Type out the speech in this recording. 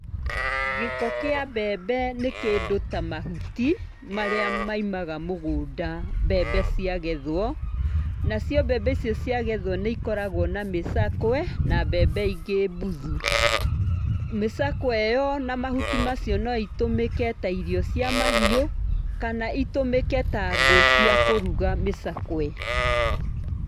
Gĩko kĩa mbembe nĩ kĩndũ ta mahuti, marĩa maimaga mũgũnda mbembe cia gethwo, nacio mbembe icio ciagethwo nĩikoragwo na mĩcakwe, na mbembe ingĩ mbuthu. Mĩcakwe ĩyo na mahuti macio no itũmĩke ta irio cia mahiu kana itũmĩke ta ngũ cia kũrũga, mĩcakwe.